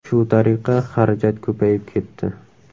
Shu tariqa xarajat ko‘payib ketdi.